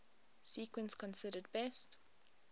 sequence considered best